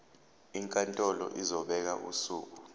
inkantolo izobeka usuku